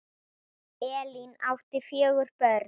Elín átti fjögur börn.